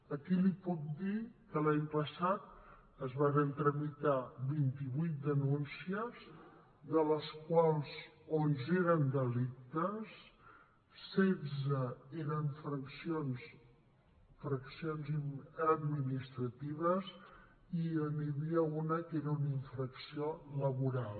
aquí li puc dir que l’any passat es varen tramitar vint vuit denúncies de les quals onze eren delictes setze eren infraccions administratives i n’hi havia un que era una infracció laboral